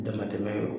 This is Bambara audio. Damatɛmɛ y'o ye